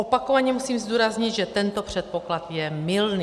Opakovaně musím zdůraznit, že tento předpoklad je mylný.